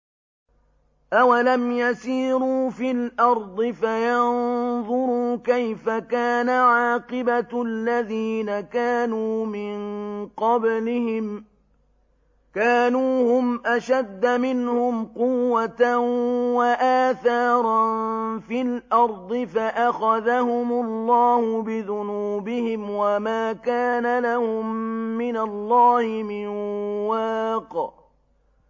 ۞ أَوَلَمْ يَسِيرُوا فِي الْأَرْضِ فَيَنظُرُوا كَيْفَ كَانَ عَاقِبَةُ الَّذِينَ كَانُوا مِن قَبْلِهِمْ ۚ كَانُوا هُمْ أَشَدَّ مِنْهُمْ قُوَّةً وَآثَارًا فِي الْأَرْضِ فَأَخَذَهُمُ اللَّهُ بِذُنُوبِهِمْ وَمَا كَانَ لَهُم مِّنَ اللَّهِ مِن وَاقٍ